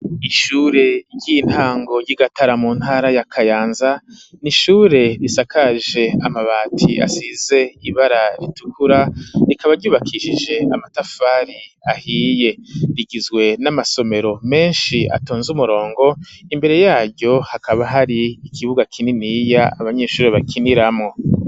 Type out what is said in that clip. Ishure ry'intango ry'igatara mu ntara yakayanza ni ishure risakaje amabati asize ibara ritukura rikaba ryubakishije amatafari ahiye rigizwe n'amasomero menshi atonze umurongo imbere yaryo hakaba hari ikibuga kininiya abaa nishuro bakinilamwo.